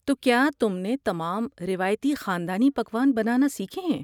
تو کیا تم نے تمام روایتی خاندانی پکوان بنانا سیکھے ہیں؟